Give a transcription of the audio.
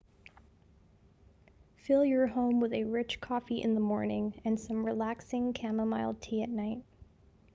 fill your home with a rich coffee in the morning and some relaxing chamomile tea at night